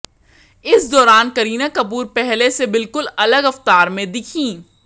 इस दौरान करीना कपूर पहले से बिल्कुल अलग अवतार में दिखीं